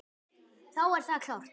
Þá er það klárt.